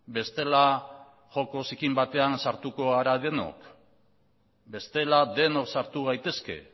bestela joko zikin batean sartuko gara denok bestela denok sartu gaitezke